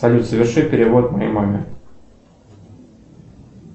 салют соверши перевод моей маме